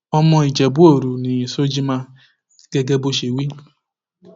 ọmọ ìjẹbúòru ni shojiman gẹgẹ bó ṣe wí